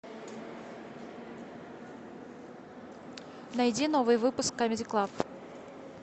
найди новый выпуск камеди клаб